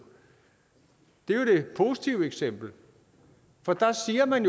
det er jo det positive eksempel for der siger man